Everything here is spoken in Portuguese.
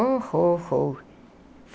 Oh, oh, oh.